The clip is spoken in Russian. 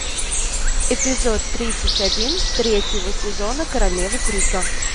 эпизод тридцать один третьего сезона королевы крика